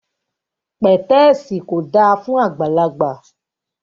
Pẹ̀tẹ́ẹ̀sì kò dáa fún àgbàlagbà